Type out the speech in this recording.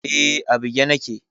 Eh, a bige nake